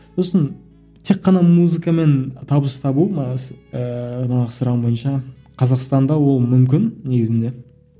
сосын тек қана музыкамен табыс табу ыыы манағы сұрағың бойынша қазақстанда ол мүмкін негізінде